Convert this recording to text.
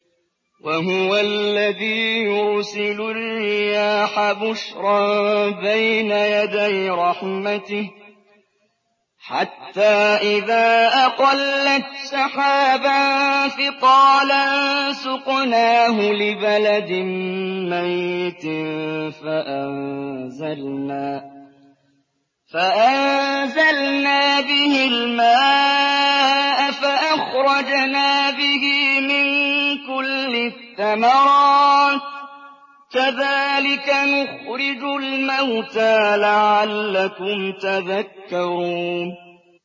وَهُوَ الَّذِي يُرْسِلُ الرِّيَاحَ بُشْرًا بَيْنَ يَدَيْ رَحْمَتِهِ ۖ حَتَّىٰ إِذَا أَقَلَّتْ سَحَابًا ثِقَالًا سُقْنَاهُ لِبَلَدٍ مَّيِّتٍ فَأَنزَلْنَا بِهِ الْمَاءَ فَأَخْرَجْنَا بِهِ مِن كُلِّ الثَّمَرَاتِ ۚ كَذَٰلِكَ نُخْرِجُ الْمَوْتَىٰ لَعَلَّكُمْ تَذَكَّرُونَ